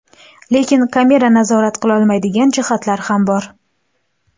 Lekin kamera nazorat qilolmaydigan jihatlar ham bor.